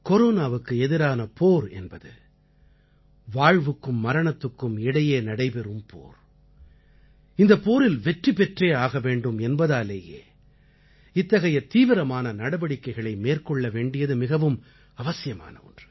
கொரோனாவுக்கு எதிரான போர் என்பது வாழ்வுக்கும் மரணத்துக்கும் இடையே நடைபெறும் போர் இந்தப் போரில் வெற்றி பெற்றே ஆக வேண்டும் என்பதாலேயே இத்தகைய தீவிரமான நடவடிக்கைகளை மேற்கொள்ள வேண்டியது மிகவும் அவசியமான ஒன்று